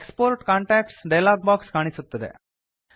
export contacts dialog box ಕಾಣಿಸುತ್ತದೆ